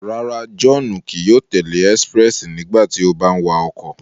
Rárá, Johnu kii yóò tẹle expréssi nígbàtí o bà ń wa ọkọ